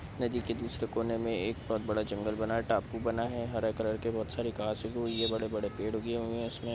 नदी के दूसरे कोने में एक बड़ा जंगल बना है। टापू बना है हरा कलर के बहुत सारे घास उगी हुई है। बड़े-बड़े पेड़ उगे हैं इसमे।